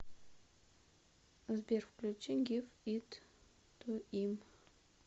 сбер включи гив ит ту им